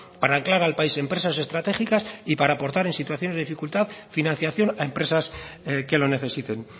para anclar al país empresas estratégicas y para aportar en situaciones de dificultad financiación a empresas que lo necesiten